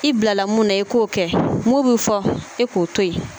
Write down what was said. I bilala mun na i k'o kɛ mun bɛ fɔ e k'o to yen.